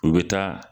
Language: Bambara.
U bɛ taa